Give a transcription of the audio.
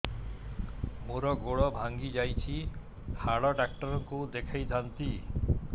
ମୋର ଗୋଡ ଭାଙ୍ଗି ଯାଇଛି ହାଡ ଡକ୍ଟର ଙ୍କୁ ଦେଖେଇ ଥାନ୍ତି